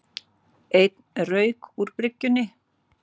Enn rauk úr bryggjunni